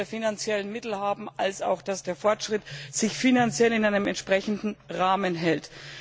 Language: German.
finanziellen Mittel haben und auch dass der Fortschritt sich finanziell in einem entsprechenden Rahmen hält.